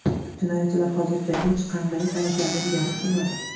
Jinoyatchilar hozircha hech qanday talablarni ilgari surmadi.